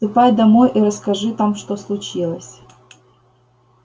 ступай домой и расскажи там что случилось